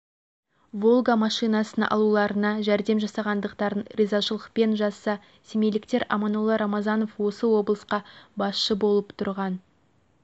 волга машинасын алуларына жәрдем жасағандықтарын ризашылықпен жазса семейліктер аманолла рамазанов осы облысқа басшы болып тұрған